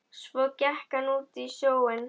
Svo gekk hann út í sjóinn.